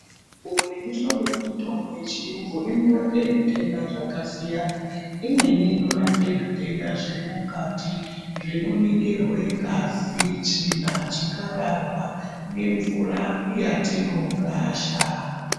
Mihlobo nemihlobo yemitombo yechiyungu inorape zvitenda zvakasiyana. Imweni inorape zvitenda zviri mukati, zvinoningirwe ngazi, tsvina, chikararwa nemvura yatinorasha.